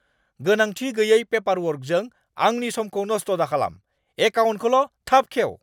गोनांथि गैयै पेपारवर्कजों आंनि समखौ नस्थ दाखालाम। एकाउन्टखौल' थाब खेव!